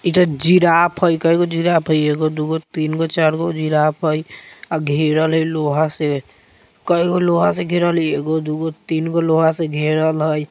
इ ते जिराफ हय कएगो जिराफ हय एगो दु गो तीन गो चार गो जिराफ हय आ घेरल हय लोहा से कएगो लोहा से घेरल हय एगो दु गो तीन गो लोहा से घेरल हय।